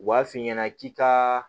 U b'a f'i ɲɛna k'i ka